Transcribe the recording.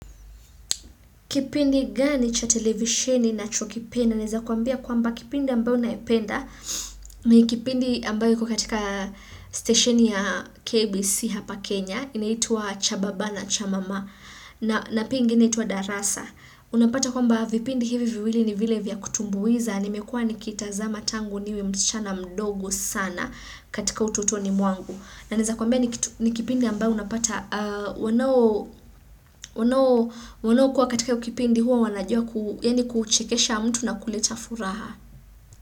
Kipindi gani cha televisheni nachokipenda naeza kuambia kwamba kipindi ambayo naipenda, ni kipindi ambayo iko katika stesheni ya KBC hapa Kenya, inaitwa cha baba na cha mama, na pia ingine inaitwa darasa. Unapata kwamba vipindi hivi viwili ni vile vya kutumbuiza, nimekua nikita za matangu niwe msichana mdogo sana katika utotoni mwangu. Na naeza kuambia ni kipindi ambayo unapata wanaokuwa katika hio kipindi huwa wanajua kuchekesha mtu na kuleta furaha.